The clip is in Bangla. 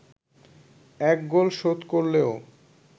এক গোল শোধ করলেও